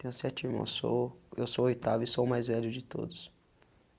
Tenho sete irmãos, sou eu sou o oitavo e sou o mais velho de todos.